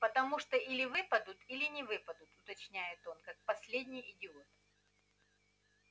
потому что или выпадут или не выпадут уточняет он как последний идиот